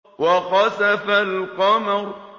وَخَسَفَ الْقَمَرُ